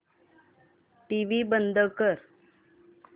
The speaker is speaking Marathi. टीव्ही बंद कर